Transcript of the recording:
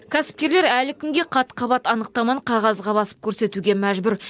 кәсіпкерлер әлі күнге қат қабат анықтаманы қағазға басып көрсетуге мәжбүр